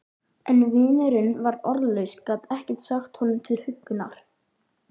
En vinurinn var orðlaus, gat ekkert sagt honum til huggunar.